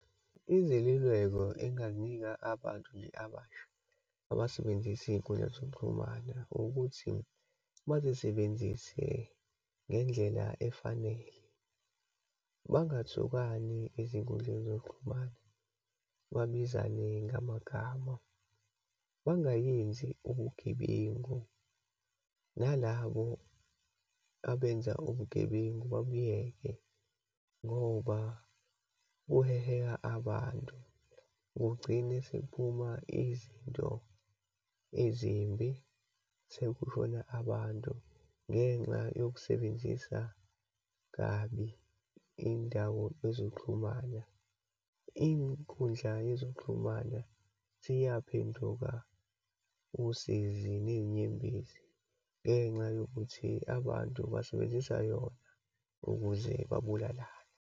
Izeluleko enginganika abantu nje abasha, abasebenzisa iyinkundla zokuxhumana, ukuthi bazisebenzise ngendlela efanele. Bangathukani ezinkundleni zokuxhumana, babizane ngamagama, bangayenzi ubugebengu, nalabo abenza ubugebengu babuyeke ngoba kuheha abantu. Kugcine sekuphuma izinto ezimbi, sekushona abantu ngenxa yokusebenzisa kabi iyindawo ezoxhumana. Inkundla yezoxhumana seyaphenduka usizi nezinyembezi ngenxa yokuthi abantu basebenzisa yona ukuze babulalana.